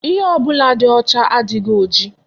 Ihe ọbụla dị ọcha adịghị oji.